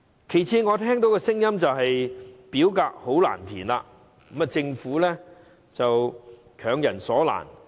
其次，我聽到有聲音指表格很難填寫，政府是強人所難。